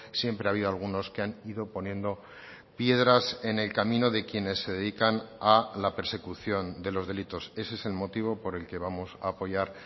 siempre ha habido algunos que han ido poniendo piedras en el camino de quienes se dedican a la persecución de los delitos ese es el motivo por el que vamos a apoyar